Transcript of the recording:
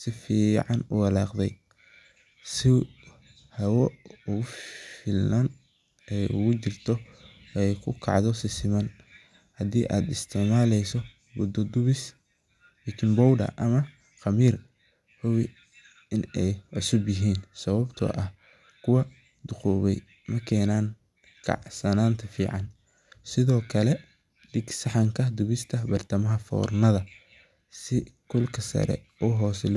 si fican uwalaaqde, si aay ku kacdo si siman, hubi in aay cusub yihiin, sido kale dig saxanka dubista bartamaha foornada.